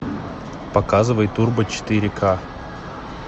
показывай турбо четыре к